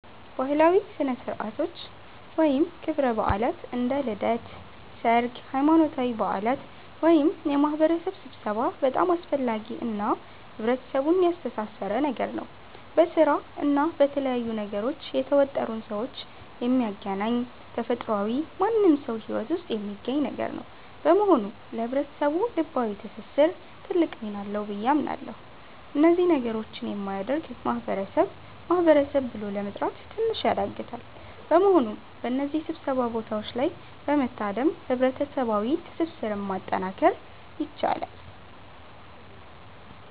ባህላዊ ሥነ ሥርዓቶች ወይም ክብረ በዓላት (እንደ ልደት፣ ሠርግ፣ ሃይማኖታዊ በዓላት )ወይም የማህበረሰብ ስብሠባ በጣም አስፈላጊ እና ህብረተሰቡን ያስተሣሠረ ነገር ነው። በስራ እና በተለያዩ ነገሮች የተወጠሩን ሠዎች የሚያገናኝ ተፈጥሯዊ ማንም ሠው ሂወት ውስጥ የሚገኝ ነገር ነው። በመሆኑ ለህብረተሰቡ ልባዊ ትስስር ትልቅ ሚና አለው ብዬ አምናለሁ። እነዚህ ነገሮች የሚያደርግ ማህበረሰብ ማህበረሰብ ብሎ ለመጥራት ትንሽ ያዳግታል። በመሆኑም በእነዚህ ሥብሰባ ቦታዎች ላይ በመታደም ህብረሠባዋ ትስስርን ማጠናከር ይቻላል።